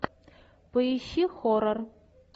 поищи хоррор